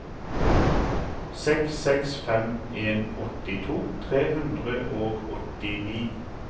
seks seks fem en åttito tre hundre og åttini